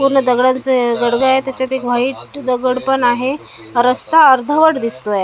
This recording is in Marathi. पूर्ण दगडांचा गडगं आहे त्याच्यात एक व्हाईट दगड पण आहे रस्ता अर्धवट दिसतोय .